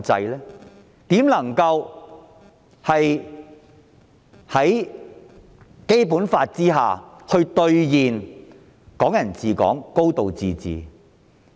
如何能夠在《基本法》下兌現"港人治港"、"高度自治"呢？